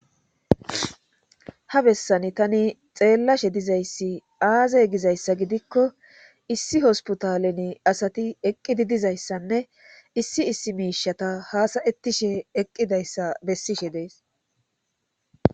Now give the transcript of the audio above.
ha bessani tani xeellashe dizayssi aazey gizayssa gidikko issi hosputalen asati eqqidi dizayssanne issi issi miishata haasayettishe eqqidayssa bessishe dees